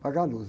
Apagar a luz.